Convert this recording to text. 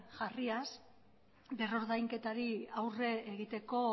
jarriaz berrordainketari aurre egiteko